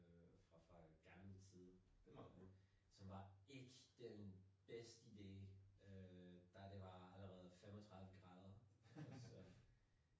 Fra fra gammel tid som var ikke den bedste idé øh da det var allerede 35 grader så